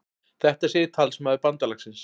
Þetta segir talsmaður bandalagsins